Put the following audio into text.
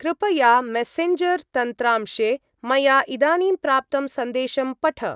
कृपया मेसेञ्जर्-तन्त्रांशे मया इदानीं प्राप्तं सन्देशं पठ।